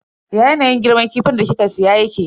Ya yanayin girman kifin da kika siya yake?